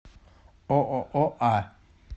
ооо а